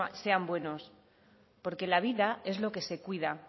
sea buenos porque la vida es lo que se cuida